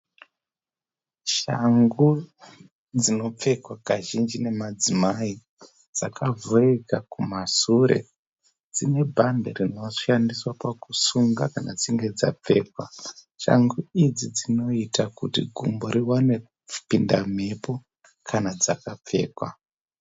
Shangu dzinopfekwa kazhinji nemadzimai . Dzakavhurika kumasure, dzine bhandi rinoshandiswa pakusunga kana dzichinge dzapfekwa. Shangu idzi dzinoita kuti gumbo riwane kupinda mhepo kana dzakapfekwa .